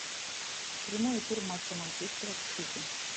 прямой эфир матча манчестера с сити